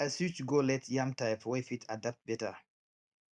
i switch go late yam type wey fit adapt better